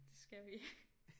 Det skal vi